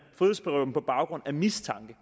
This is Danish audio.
på baggrund af mistanke